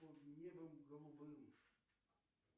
под небом голубым